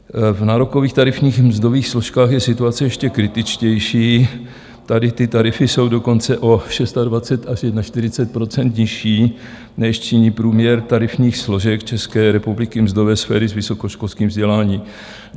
V nárokových tarifních mzdových složkách je situace ještě kritičtější, tady ty tarify jsou dokonce o 26 až 41 % nižší, než činí průměr tarifních složek České republiky mzdové sféry s vysokoškolským vzděláním.